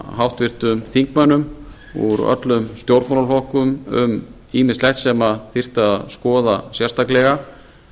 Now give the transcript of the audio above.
háttvirtum þingmönnum úr öllum stjórnmálaflokkum um ýmislegt sem þyrfti að skoða sérstaklega